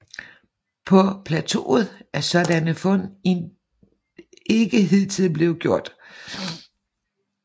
På plateauet er sådanne fund ikke hidtil blevet gjort